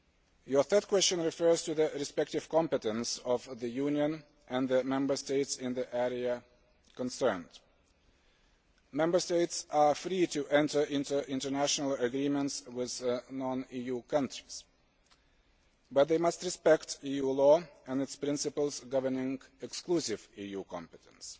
Your third question refers to the respective competence of the Union and the Member States in the area concerned. Member States are free to enter into international agreements with non EU countries, but they must respect EU law and its principles governing exclusive EU competence.